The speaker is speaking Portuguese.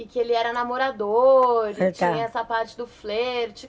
E que ele era namorador e tinha essa parte do flerte.